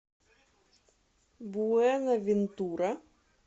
буэнавентура